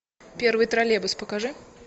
первый троллейбус покажи